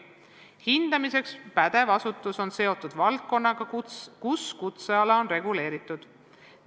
Hindamiseks pädev asutus on seotud valdkonnaga, kus kutseala on reguleeritud.